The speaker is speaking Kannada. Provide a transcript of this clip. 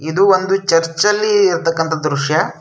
ಇದು ಒಂದು ಚರ್ಚ್ ಅಲ್ಲಿ ಇರತಕ್ಕಂತ ದ್ರಶ್ಯ --